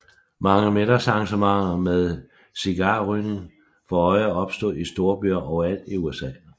Mange middagsarrangementer med cigarrygning for øje opstod i storbyer overalt i USA